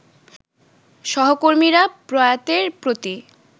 সহকর্মীরা প্রয়াতের প্রতি